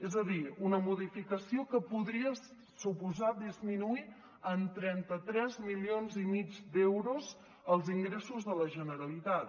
és a dir una modificació que podria suposar disminuir en trenta tres milions i mig d’euros els ingressos de la generalitat